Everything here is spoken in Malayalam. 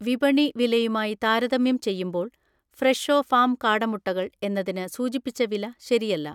വിപണി വിലയുമായി താരതമ്യം ചെയ്യുമ്പോൾ ഫ്രെഷോ ഫാം കാടമുട്ടകൾ എന്നതിന് സൂചിപ്പിച്ച വില ശരിയല്ല